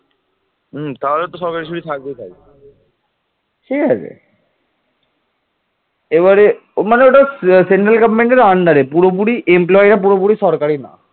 পাল সম্রাটগণ বহু বৌদ্ধবিহার ও ধর্মীয় পীঠস্থান নির্মাণ করেছিলেন